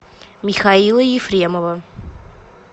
михаила ефремова